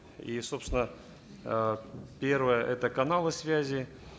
и собственно э первое это каналы связи